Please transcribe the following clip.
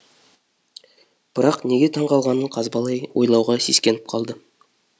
бірақ неге таң қалғанын қазбалай ойлауға сескеніп қалды